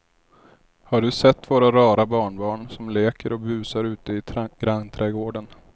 Har du sett våra rara barnbarn som leker och busar ute i grannträdgården!